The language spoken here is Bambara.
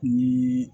Ni